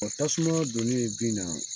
Ɔ tasuma donni bin na